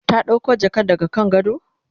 ta ɗauko jakan daga kan gado?